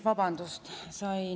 Vabandust!